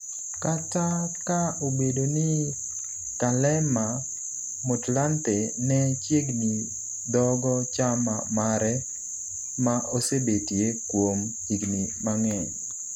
kata ka obedo ni Kgalema Motlanthe ne chiegni dhogo chama mare ma osebetie kuom higni mang'eny